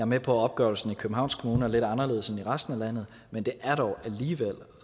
med på at opgørelsen i københavns kommune er lidt anderledes end i resten af landet men det er dog alligevel